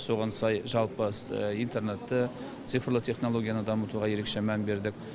соған сай жалпы интернетті цифрлық технологияны дамытуға ерекше мән бердік